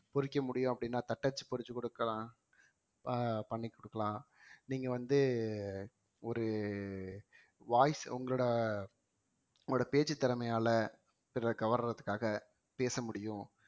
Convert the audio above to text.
பொறிக்க முடியும் அப்படின்னா தட்டச்சு பொறிச்சு கொடுக்கலாம் அஹ் பண்ணி கொடுக்கலாம் நீங்க வந்து ஒரு voice உங்களோட உங்களுடைய பேச்சுத் திறமையால பிறரை கவர்றதுக்காக பேச முடியும்